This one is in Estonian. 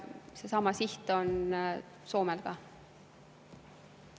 Seesama siht on Soomel ka.